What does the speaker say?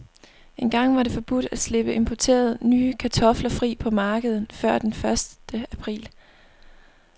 Engang var det forbudt at slippe importerede, nye kartofler fri på markedet før den første april.